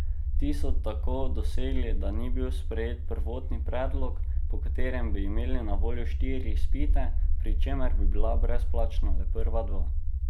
Ti so tako dosegli, da ni bil sprejet prvotni predlog, po katerem bi imeli na voljo štiri izpite, pri čemer bi bila brezplačna le prva dva.